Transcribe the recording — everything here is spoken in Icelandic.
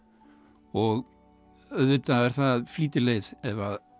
og auðvitað er það flýtileið ef